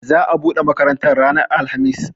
Za a buɗe makarantar ranar alhamis